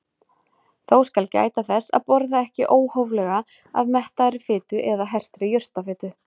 Þó skal gæta þess að borða ekki óhóflega af mettaðri fitu eða hertri jurtafitu.